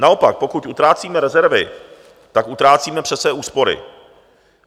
Naopak, pokud utrácíme rezervy, tak utrácíme přece úspory.